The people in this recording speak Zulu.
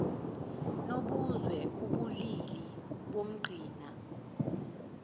nobuzwe ubulili nomqhina